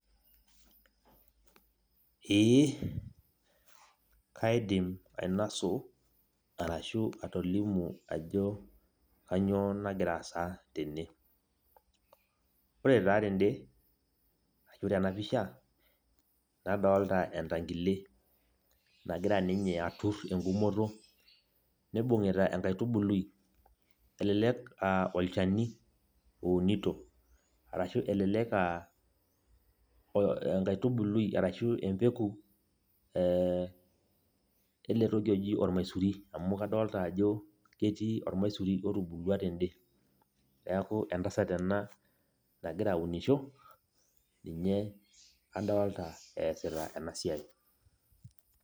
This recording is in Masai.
Ee, kaidim ainosu arashu atolimu ajo kanyioo nagira aasa tene. Ore taa tede ashu tenapisha, nadolta entankile, nagira ninye atur egumoto, nibung'ita enkaitubului, elelek ah olchani ounito. Arashu elelek ah enkaitubului arashu empeku, eletoki oji ormaisuri, amu kadolta ajo etii ormaisuri otubulua tede. Neeku entasat ena nagira aunisho, ninye adolta eesita enasiai.